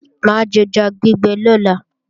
Mà á jẹja gbígbẹ lọ́la